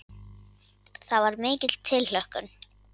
Það var mikil tilhlökkun.